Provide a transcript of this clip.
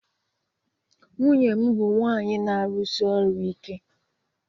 Nwunye m bụ nwanyị na-arụsi ọrụ ike